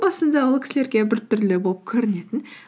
басында ол кісілерге біртүрлі болып көрінетін